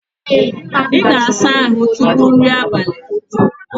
Ị ga-asa ahụ tupu nri abalị?